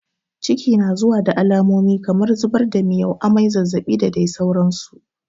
Ciki na zuwa da alamomi kamar zubar da miyau, amai, zazzaɓi da dai sauransu.